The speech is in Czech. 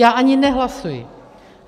Já ani nehlasuji.